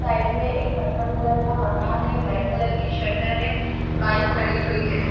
Side में एक purple colour का मकान है ब्लैक कलर की शटर है बाइक खड़ी हुई है।